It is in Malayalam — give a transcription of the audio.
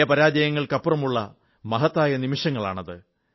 ജയപരാജയങ്ങൾക്കപ്പുറമുള്ള മഹത്തായ നിമിഷങ്ങളാണത്